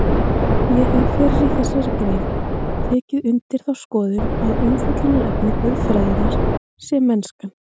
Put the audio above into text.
Ég hef fyrr í þessari grein tekið undir þá skoðun að umfjöllunarefni guðfræðinnar sé mennskan.